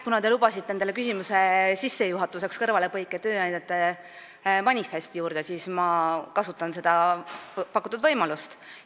Kuna te lubasite endale küsimuse sissejuhatuseks kõrvalepõike tööandjate manifesti juurde, siis ma kasutan seda pakutud võimalust.